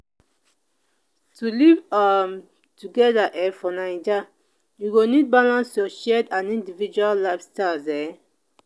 to live um together um for naija you go need balance your shared and individual lifestyles. um